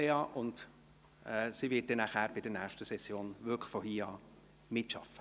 Sie wird ab der nächsten Session mitarbeiten.